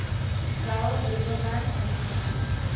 saul lieberman institute